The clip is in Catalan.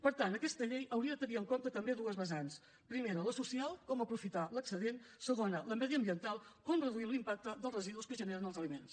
per tant aquesta llei hauria de tenir en compte també dues vessants primera la social com aprofitar l’excedent segona la mediambiental com reduïm l’impacte dels residus que generen els aliments